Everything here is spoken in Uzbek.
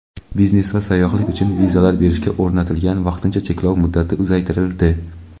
biznes va sayyohlik uchun vizalar berishga o‘rnatilgan vaqtincha cheklov muddati uzaytirildi.